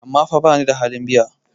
amma fa bani da halin biya?